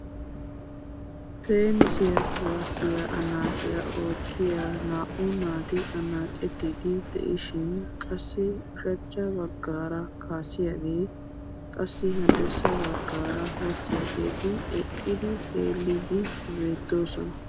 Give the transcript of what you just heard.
Teenisiya kuwaassiya annacciya oottiya naa"u naati annaccetiidi de'ishin qassi ushachcha baggaara kaasiyaage, qassi haddirssa baggaara wochchiyaageeti eqqidi xeellidi beettoosona .